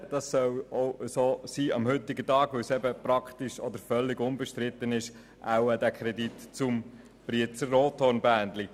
der BaK. Sie wissen es: Ich kann sehr, sehr schnell sprechen, und das werde ich jetzt auch tun, da dieser Kredit wahrscheinlich unbestritten ist.